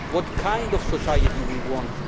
what kind of society we want